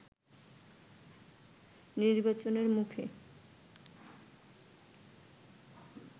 নির্বাচনের মুখে